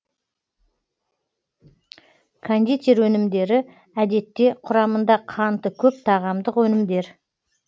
кондитер өнімдері әдетте құрамында қанты көп тағамдық өнімдер